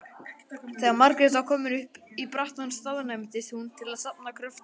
Þegar Margrét var komin upp í brattann staðnæmdist hún til að safna kröftum.